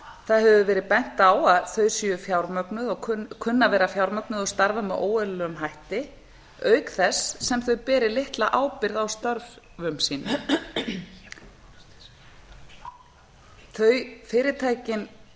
það hefur verið bent á að þau kunni að vera fjármögnuð og starfa með óeðlilegum hætti auk þess sem þau beri litla ábyrgð á störfum sínum fyrirtækin